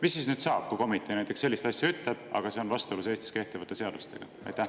Mis saab siis, kui komitee näiteks sellist asja ütleb, aga see on vastuolus Eestis kehtivate seadustega?